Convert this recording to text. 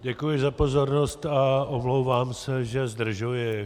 Děkuji za pozornost a omlouvám se, že zdržuji.